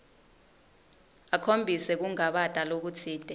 akhombise kungabata lokutsite